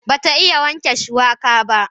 Ba ta iya wanke shuwaka ba.